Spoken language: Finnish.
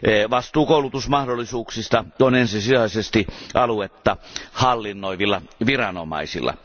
Vastuu koulutusmahdollisuuksista on ensisijaisesti aluetta hallinnoivilla viranomaisilla.